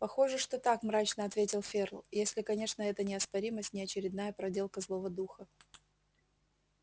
похоже что так мрачно ответил ферл если конечно эта неоспоримость не очередная проделка злого духа